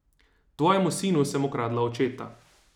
Tvojemu sinu sem ukradla očeta.